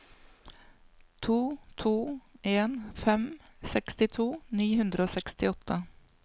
to to en fem sekstito ni hundre og sekstiåtte